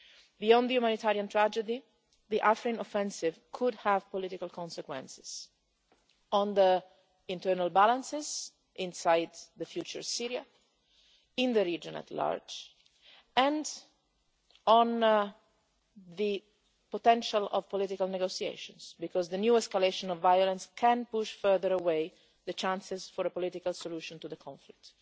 Beyond the humanitarian tragedy, the Afrin offensive could have political consequences on the internal balances inside the future Syria, on the region at large and on the potential for political negotiations, because the new escalation of violence could push further away the chances of a political solution to the conflict.